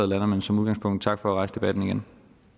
lander men som udgangspunkt tak for at rejse debatten igen